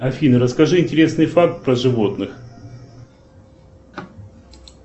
афина расскажи интересный факт про животных